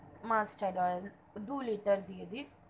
Musturd oil দু liter দিয়ে দিন,